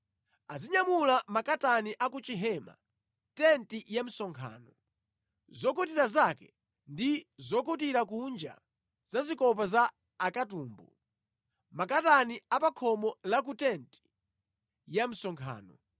Azinyamula makatani a ku chihema, tenti ya msonkhano, zokutira zake ndi zokutira kunja za zikopa za akatumbu, makatani a pa khomo la ku tenti ya msonkhano,